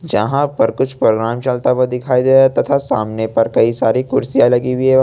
यहां पर कुछ प्रोग्राम चलता हुआ दिखाई दे रहा है तथा सामने पर कई सारी कुर्सियां लगी हुई है।